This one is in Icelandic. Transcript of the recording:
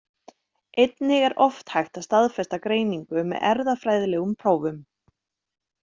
Einnig er oft hægt að staðfesta greiningu með erfðafræðilegum prófum.